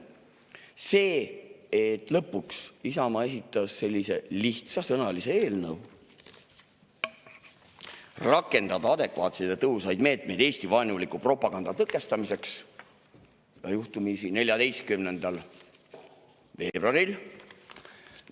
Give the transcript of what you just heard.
See, et lõpuks Isamaa esitas sellise lihtsasõnalise eelnõu – rakendada adekvaatseid ja tõhusaid meetmeid Eesti-vaenuliku propaganda tõkestamiseks – juhtumisi 14. veebruaril,.